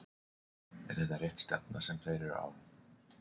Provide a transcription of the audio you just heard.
Er þetta rétt stefna sem þeir eru á?